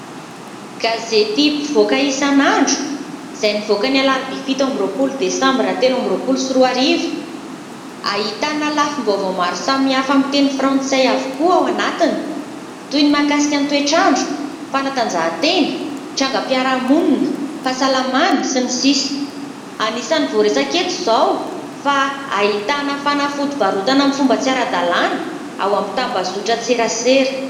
Gazety mpivoaka isan'andro, izay nivoaka ny : Alarobia fito amby roapolo desambra telo amby roapolo sy roa arivo, ahitana lafim-boavao maro samihafa amin'ny teny frantsay avokoa ao anatiny toy ny mahakasika : ny toetrandro, fanatanjahan-tena, trangam-piarahamonina, fahasalamana sy ny sisa... Anisan'ny voaresaka eto izao, fa ahitana fanafody varotana amin'ny fomba tsy ara-dalàna ao amin'ny tambazotran-tserasera.